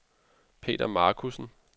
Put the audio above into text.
Peter Marcussen